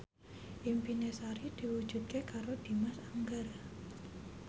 impine Sari diwujudke karo Dimas Anggara